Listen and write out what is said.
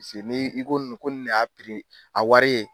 Paseke n'i i ko nin ko nin de y'a piri ye a wari ye